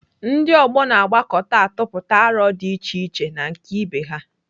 Ndị ọgbọ na-agbakọta atụpụta arọ dị iche na nke ibe ha.